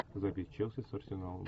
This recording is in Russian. запись челси с арсеналом